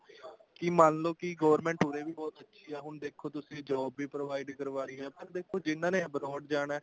ਤੁਸੀਂ ਮੰਨਲੋ ਕੀ government ਉਰੇ ਵੀ ਬਹੁਤ ਅੱਛੀ ਆ ਹੁਣ ਦੇਖੋ ਤੁਸੀਂ job ਵੀ provide ਕਰ ਰਹੀ ਆ ਦੇਖੋ ਜਿਹਨਾ ਨੇ abroad ਜਾਣਾ